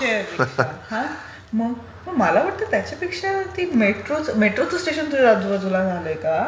Share rickshaw. मला वाटते त्याच्यापेक्षा ती मेट्रो. मेट्रोचं स्टेशन तुझ्या आजूबाजूला झालं आहे का?